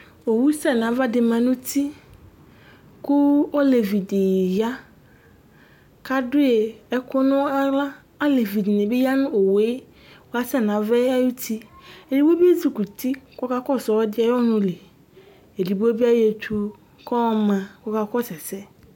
owu sɛ nu ava di ma nu uti ku olevidi ya ku adu ɛku naɣla olevidini bi ya nu owue kasɛ nu ava ayuti uvidi bi ezikuti kaka kɔsu ɔlɔdi ayu ɔnuli edigbo bi ayɔ etu kɔ ma ku kakɔsu ɛsɛ